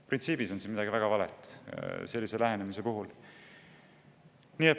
Printsiibis on siin midagi väga valet selle lähenemise puhul.